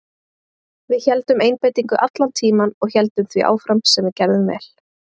Við héldum einbeitingu allan tímann og héldum því áfram sem við gerðum vel.